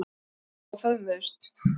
Þau hlógu og föðmuðust.